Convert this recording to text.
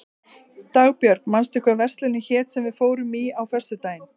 Dagbjörg, manstu hvað verslunin hét sem við fórum í á föstudaginn?